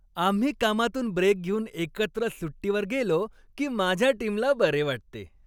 आम्ही कामातून ब्रेक घेऊन एकत्र सुट्टीवर गेलो की माझ्या टीमला बरे वाटते.